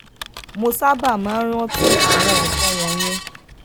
mo sábà máa ń rántí àwọn nǹkan wònyẹn